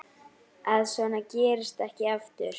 Að svona gerist ekki aftur.